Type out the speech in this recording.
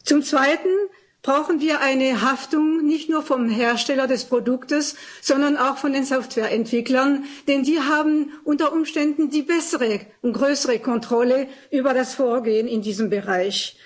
Zum Zweiten brauchen wir eine Haftung nicht nur vom Hersteller des Produktes, sondern auch von den Softwareentwicklern, denn sie haben unter Umständen die bessere und größere Kontrolle über das Vorgehen in diesem Bereich.